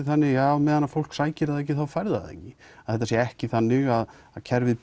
þannig á meðan fólk sækir það ekki þá fær það ekki að þetta sé ekki þannig að kerfið